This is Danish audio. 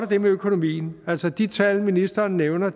det med økonomien altså de tal ministeren nævner